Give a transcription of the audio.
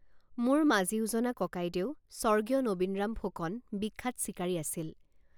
মোৰ মাজিউজনা ককাইদেউ স্বৰ্গীয় নবীনৰাম ফুকন বিখ্যাত চিকাৰী আছিল।